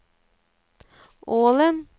Ålen